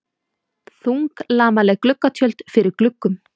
Þunglamaleg gluggatjöld fyrir gluggum.